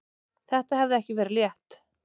Þetta hafði ekki verið létt.